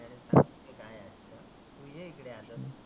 तु ये इकडं आता.